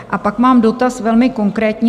A pak mám dotaz velmi konkrétní.